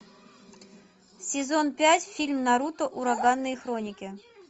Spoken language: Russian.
сезон пять фильм наруто ураганные хроники